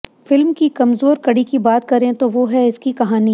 film की कमजोर कड़ी की बात करें तो वो है इसकी कहानी